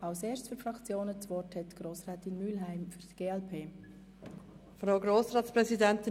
Nun hat Grossrätin Mühlheim für die glp das Wort.